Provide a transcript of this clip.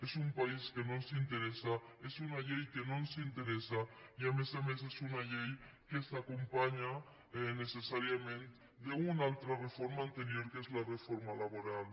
és un país que no ens interessa és una llei que no ens interessa i a més a més és una llei que s’acompanya necessàriament d’una altra reforma anterior que és la reforma laboral